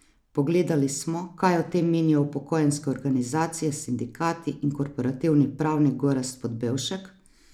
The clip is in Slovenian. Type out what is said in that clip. Pogledali smo, kaj o tem menijo upokojenske organizacije, sindikati in korporativni pravnik Gorazd Podbevšek?